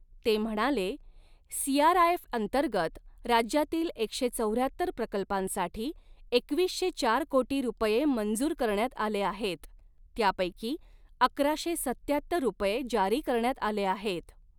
ते म्हणाले, सीआरआयएफअंतर्गत राज्यातील एकशे चौऱ्याहत्तर प्रकल्पांसाठी एकवीसशे चार कोटी रुपये मंजूर करण्यात आले आहेत, त्यापैकी अकराशे सत्त्याहत्तर रुपये जारी करण्यात आले आहेत.